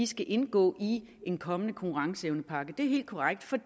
skal indgå i en kommende konkurrenceevnepakke det er helt korrekt for